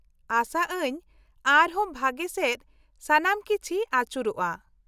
-ᱟᱥᱟ ᱟᱹᱧ ᱟᱨ ᱦᱚᱸ ᱵᱷᱟᱜᱮ ᱥᱮᱫ ᱥᱟᱱᱟᱢ ᱠᱤᱪᱷᱤ ᱟᱪᱩᱨᱚᱜᱼᱟ ᱾